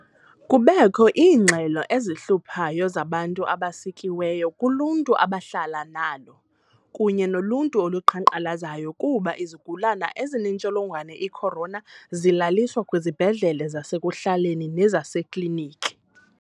Kubekho iingxelo ezihluphayo zabantu abasikiweyo kuluntu abahlala nalo kunye noluntu oluqhankqalazayo kuba izigulana ezinentsholongwane i-corona zilaliswa kwizibhedlele zasekuhlaleni nasezikliniki.